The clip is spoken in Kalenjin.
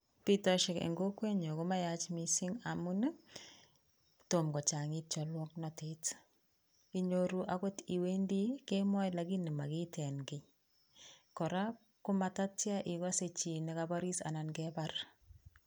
Bitoshek en kokwenyun ko mayach mising amun tom kochang'it cholwoknotet. Inyoru agot iwendi kemoe lakini magiiten kiy. Kora ko matatya igose chi ne koboriis anan kebar.